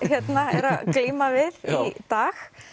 eru að glíma við í dag